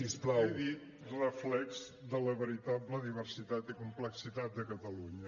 he dit reflex de la veritable diversitat i complexitat de catalunya